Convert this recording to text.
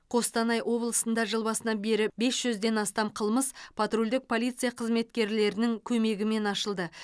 қостанай облысында жыл басынан бері бес жүзден астам қылмыс патрульдік полиция қызметкерлерінің көмегімен ашылды